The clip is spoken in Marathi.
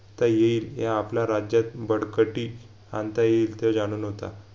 त येईल या आपल्या राज्यात बडकटी आणता येईल ते जाणून होता